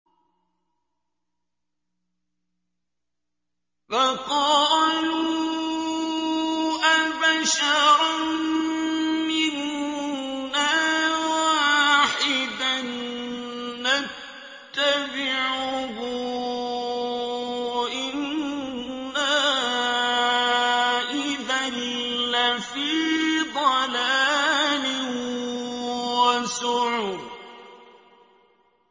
فَقَالُوا أَبَشَرًا مِّنَّا وَاحِدًا نَّتَّبِعُهُ إِنَّا إِذًا لَّفِي ضَلَالٍ وَسُعُرٍ